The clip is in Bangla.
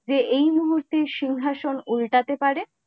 যে এই মুহূর্তে সিংহাসন উল্টাতে পারে!